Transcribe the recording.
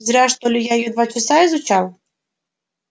зря что ли я её два часа изучал